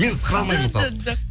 мен сықыра алмаймын мысалы жо жо жоқ